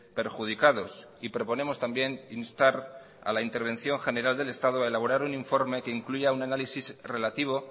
perjudicados y proponemos también instar a la intervención general del estado a elaborar un informe que incluya un análisis relativo